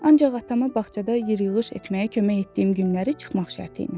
Ancaq atama bağçada yer yığış etməyə kömək etdiyim günləri çıxmaq şərti ilə.